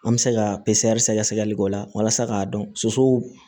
An bɛ se ka sɛgɛsɛgɛli k'o la walasa k'a dɔn so